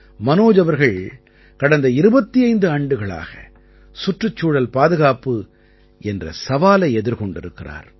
மனோஜ் அவர்கள் கடந்த 25 ஆண்டுகளாக சுற்றுச்சூழல் பாதுகாப்பு என்ற சவாலை எதிர்கொண்டிருக்கிறார்